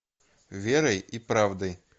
верой и правдой